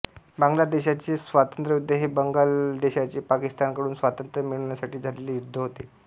बांगलादेशाचे स्वातंत्र्ययुद्ध हे बांगलादेशाचे पाकिस्तानकडून स्वातंत्र्य मिळवण्यासाटी झालेले युद्ध होते